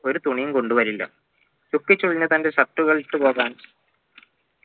ഒരുതുണിയും കൊണ്ട് വരില്ല ചുക്കിച്ചുളിഞ്ഞ തൻ്റെ shirt കളിട്ട് പോവാൻ